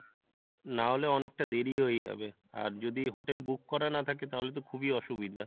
না হলে অনেকটা দেরি হয়ে যাবে, আর যদি hotel book করা না থাকে তাহলে তো খুবই অসুবিধা